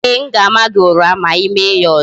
Ee, m ga-ama gị ụra ma I mee ya ọzọ